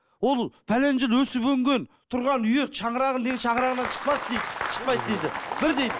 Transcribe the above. ол жыл өсіп өнген тұрған үйі шаңырағын неге шағырағынан шықпас дейді шықпайды дейді бір дейді